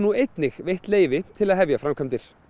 einnig veitt leyfi til að hefja framkvæmdir